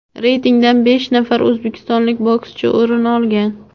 reytingdan besh nafar o‘zbekistonlik bokschi o‘rin olgan.